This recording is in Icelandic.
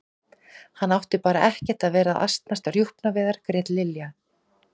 Hann átti bara ekkert að vera að asnast á rjúpnaveiðar grét Lilla.